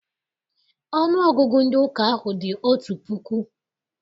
Ọnụọgụgụ ndị ụka ahụ dị otu puku.